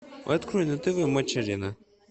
открой на тв матч арена